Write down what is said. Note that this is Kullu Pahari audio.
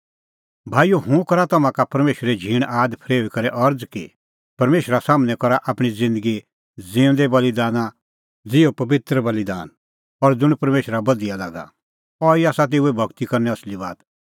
भाईओ हुंह करा तम्हां का परमेशरै झींण आद फरेऊई करै अरज़ कि परमेशरा सम्हनै करा आपणीं ज़िन्दगी ज़िऊंदै बल़ीदाना ज़िहअ पबित्र बल़ीदान और ज़ुंण परमेशरा बधिया लागा अहैई आसा तेऊए भगती करने असली बात